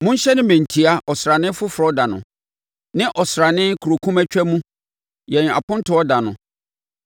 Monhyɛne mmɛntia ɔsrane foforɔ da no, ne ɔsrane korokumatwa mu, yɛn Apontoɔ da no;